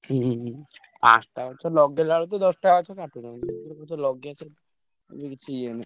ହୁଁ ପାଞ୍ଚଟା ଗଛ ଲଗେଇଲା ବେଳକୁ ତ ଦଶଟା ଗଛ କାଟୁଛନ୍ତି ଏବେ କିଛି ଇଏ ନାହିଁ।